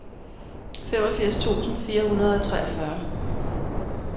femogfirs tusind fire hundrede og treogfyrre